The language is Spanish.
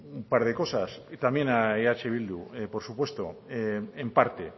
un par de cosas y también a eh bildu por supuesto en parte